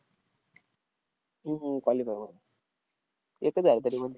हम्म qualify एकच आहे का